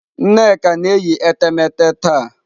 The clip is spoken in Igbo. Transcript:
Nneka na-eyi etemeete taa.